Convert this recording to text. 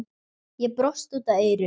Ég brosi út að eyrum.